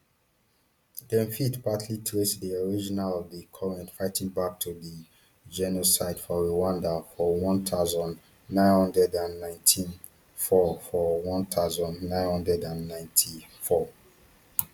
dem fit partly trace di origin of di current fighting back to di genocide for rwanda for one thousand, nine hundred and ninety-four for one thousand, nine hundred and ninety-four